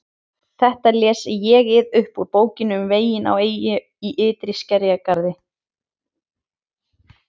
Þetta les ÉG-ið upp úr Bókinni um veginn á eyju í ytri skerjagarði